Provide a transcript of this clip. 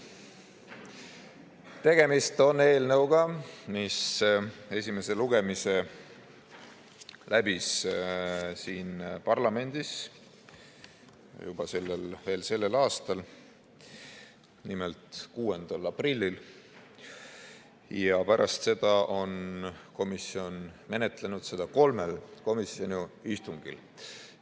Tegemist on eelnõuga, mis esimese lugemise läbis siin parlamendis sellel aastal, nimelt 6. aprillil, ja pärast seda on komisjon menetlenud seda kolmel komisjoni istungil.